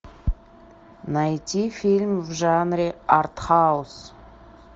найти фильм в жанре артхаус